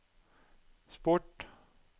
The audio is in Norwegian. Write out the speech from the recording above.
sport